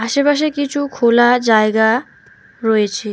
আশেপাশে কিছু খোলা জায়গা রয়েছে।